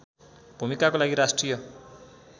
भूमिकाको लागि राष्ट्रिय